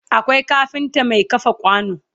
Akwai kafinta Mai kafa kwano